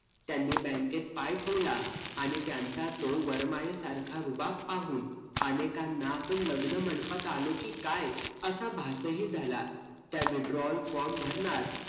त्यांनी bank त पाय ठेवला, आणि त्यांचा तोल वरमायेसारखा रुबाब पाहून अनेकांना आपण लग्न मंडपात आलो की काय असं भासही झाला. त्या withdrawal form भरणार